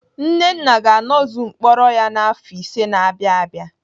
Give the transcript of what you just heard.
Nnenna ga-anọzu mkpọrọ ya n'afọ ise na-abịa abịa.